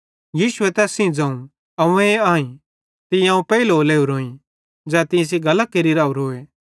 यीशुए तैस सेइं ज़ोवं अव्वें आईं तीं अवं पेइलो लोरोईं ज़ै तीं सेइं गल्लां केरि राओरोए